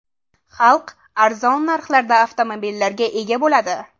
Xalq arzon narxlarda avtomobillarga ega bo‘ladi.